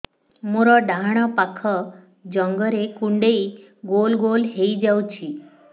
ମୋର ଡାହାଣ ପାଖ ଜଙ୍ଘରେ କୁଣ୍ଡେଇ ଗୋଲ ଗୋଲ ହେଇଯାଉଛି